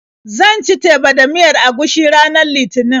Zan ci teba da miyar agushi ranar Litinin.